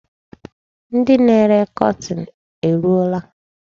Ndị na-ere kọtin eruola?